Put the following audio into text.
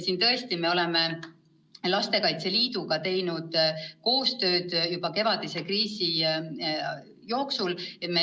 Me tegime Lastekaitse Liiduga koostööd juba kevadise kriisi ajal.